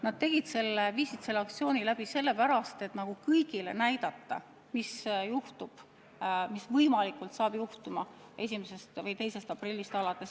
Nad tegid selle, viisid selle aktsiooni läbi sellepärast, et kõigile näidata, mis võib pärast 1. või 2. aprilli juhtuda.